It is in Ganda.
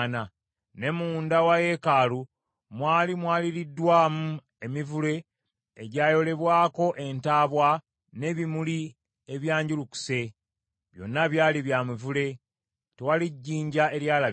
Ne munda wa yeekaalu mwali mwaliriddwamu emivule egyayolebwako entaabwa n’ebimuli ebyanjulukuse. Byonna byali bya mivule; tewaali jjinja eryalabika.